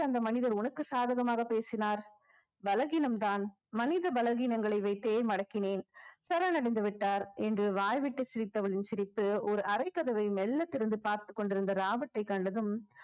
அந்த மனிதர் உனக்கு சாதகமாக பேசினார் பலகீனம்தான் மனித பலகீனங்களை வைத்தே மடக்கினேன் சரணடைந்துவிட்டார் என்று வாய்விட்டு சிரித்தவளின் சிரிப்பு ஒரு அறை கதவை மெல்ல திறந்து பார்த்துக் கொண்டிருந்த ராபர்ட்டை கண்டதும்